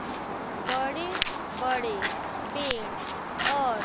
छ बड़े बड़े पेड़ और--